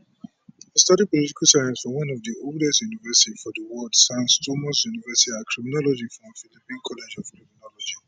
e study political science for one of di oldest university for di world sans thomas university and criminology from philippine college of criminology